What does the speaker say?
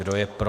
Kdo je pro?